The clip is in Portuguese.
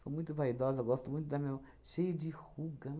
Sou muito vaidosa, gosto muito da minha mão cheia de ruga.